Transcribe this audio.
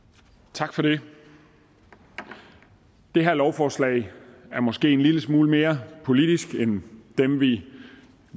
tak for det det her lovforslag er måske en lille smule mere politisk end dem vi